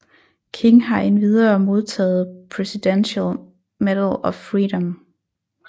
King har endvidere modtaget Presidential Medal of Freedom